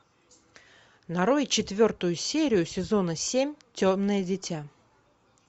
нарой четвертую серию сезона семь темное дитя